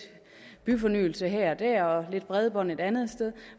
byfornyelse her og der og lidt bredbånd et andet sted